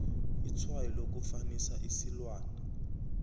itshwayo lokufanisa isilwana